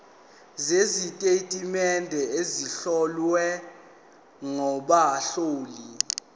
sezitatimende ezihlowe ngabahloli